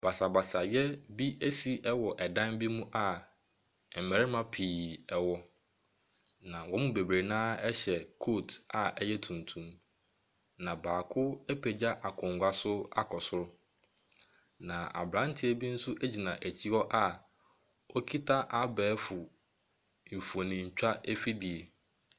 Basabasayɛ bi asi wɔ ɛdan bi mu a mmarima pii wɔ, na wɔn mu bebree no ara hyɛ coat a ɛyɛ tunyum, na baako apagya akonnwa so akɔ soro, na aberanteɛ bi nso gyina akyire hɔ a ɔkita abɛɛfo mfonintwa afidie.